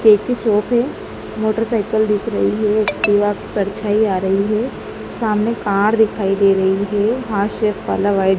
cake की shop है motorcycle दिख रही है दीवार की परछाई आ रही है सामने कार दिखाई दे रही है हार्ट शेप वाला वाइड --